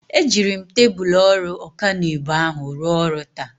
Ejiri m tebụl ọrụ ọkanibo ahụ rụọ ọrụ taa.